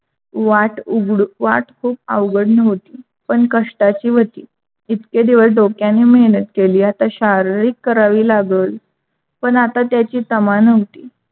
वाट उघडू वाट खूप अवघड नव्हती. पण कष्टाची होती इतक्या दिवस डोक्याने मेहनत केली आता शाररीक करावी लागल, पण आता त्याची तमा नव्हती.